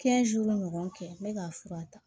ɲɔgɔn kɛ n bɛ k'a fura ta